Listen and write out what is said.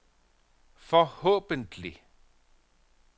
forhåbentlig